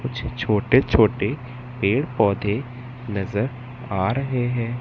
कुछ छोटे छोटे पेड़ पौधे नज़र आ रहे हैं।